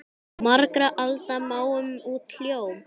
Margra alda máum út hljóm?